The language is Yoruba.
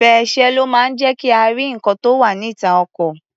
Fèr̀sé ló máa ń jẹ́ kí a rí nǹkan tó wá̀ níta ọkọ̀.